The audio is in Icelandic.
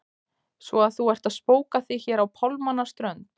Svo að þú ert að spóka þig hér á pálmanna strönd!